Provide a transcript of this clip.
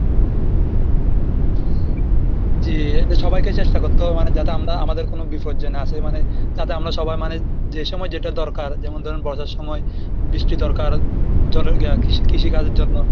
জি এদের সবাইকে চেষ্টা করতে হবে মানে যাতে আমরা আমাদের কোনো বিপদ যে না আসে মানে যাতে আমরা সবাই মানে যে সময় যেটা দরকার যেমন ধরুন বর্ষার সময় বৃষ্টি দরকার, জলের কৃষি কাজের জন্য,